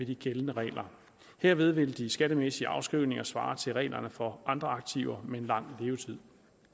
de gældende regler herved vil de skattemæssige afskrivninger svare til reglerne for andre aktiver med en lang levetid